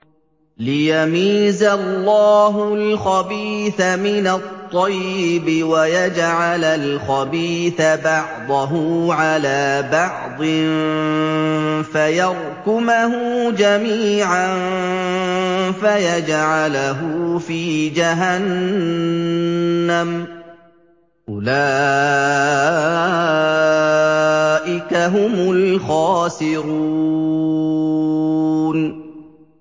لِيَمِيزَ اللَّهُ الْخَبِيثَ مِنَ الطَّيِّبِ وَيَجْعَلَ الْخَبِيثَ بَعْضَهُ عَلَىٰ بَعْضٍ فَيَرْكُمَهُ جَمِيعًا فَيَجْعَلَهُ فِي جَهَنَّمَ ۚ أُولَٰئِكَ هُمُ الْخَاسِرُونَ